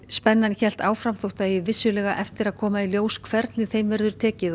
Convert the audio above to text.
spennan hélt áfram þótt vissulega eigi eftir að koma í ljós hvernig þeim verður tekið